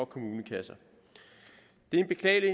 kommunekasserne det er en beklagelig